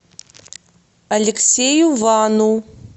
алексею вану